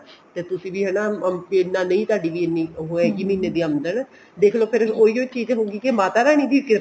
ਤੇ ਤੁਸੀਂ ਵੀ ਹਨਾ ਤੁਹਾਡੀ ਇੰਨੀ ਨਹੀਂ ਹੈਗੀ ਉਹ ਹੈਗੀ ਮਹੀਨੇ ਦੀ ਆਮਦਨ ਦੇਖਲੋ ਫ਼ੇਰ ਉਹੀ ਓ ਚੀਜ਼ ਹੋਗੀ ਕੇ ਮਾਤਾ ਰਾਨੀ ਦੀ